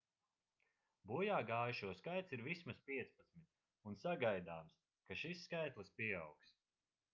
bojāgājušo skaits ir vismaz 15 un sagaidāms ka šis skaitlis pieaugs